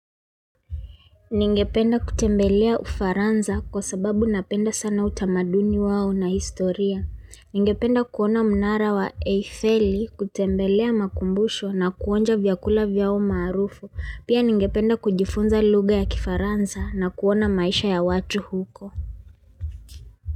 Ningependa kutembelea ufaransa kwa sababu napenda sana utamaduni wao na historia. Ningependa kuona mnara wa Eiffeli kutembelea makumbusho na kuonja vyakula vyao maarufu. Pia ningependa kujifunza lugha ya kifaransa na kuona maisha ya watu huko.